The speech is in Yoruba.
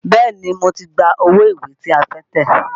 Bẹ́ẹ̀ni, mo ti gba owó ìwé tí a fẹ́ tẹ̀.